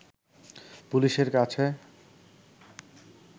পুলিশের কাছে